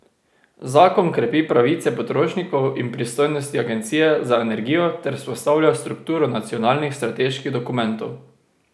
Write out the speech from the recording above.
Zakon krepi pravice potrošnikov in pristojnosti agencije za energijo ter vzpostavlja strukturo nacionalnih strateških dokumentov.